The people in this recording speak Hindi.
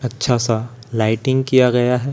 अच्छा सा लाइटिंग किया गया है।